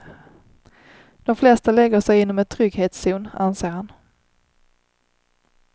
De flesta lägger sig inom ett trygghetszon, anser han.